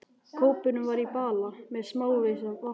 Kópurinn var í bala með smávegis vatni í.